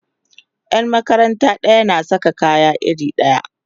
Yan makaranta ɗaya na Saka kaya iri ɗaya